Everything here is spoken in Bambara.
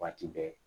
Waati bɛɛ